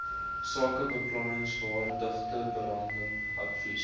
sakebeplanningsvaardighede berading advies